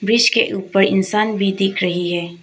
Bridge ऊपर इंसान भी दिख रही है।